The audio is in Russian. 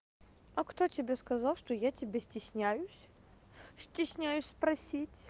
а кто тебе сказал что я тебя стесняюсь стесняюсь спросить